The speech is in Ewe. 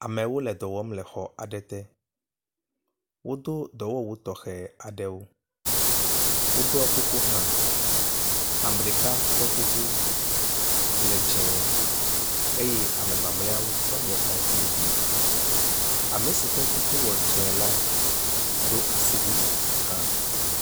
Amewo le dɔ wɔm le xɔ aɖe te. Wodo dɔwɔwu tɔxɛ aɖewo. Woɖɔ kuku hã. Ame ɖeka ƒe kuku le dzẽ eye ame mamlɛatɔwo nye aŋutiɖiɖi. Ame si ƒe kuku wɔ dzɛ̃ la do asiwui hã.